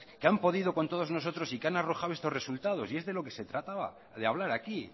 que han podido con todos nosotros y que han arrojado estos resultados y es de lo que se trataba de hablar aquí